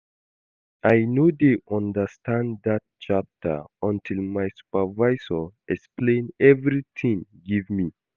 I no dey understand dat chapter until my supervisor explain everything give me